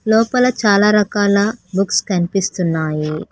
లోపల చాలా రకాల బుక్స్ కనిపిస్తున్నాయి.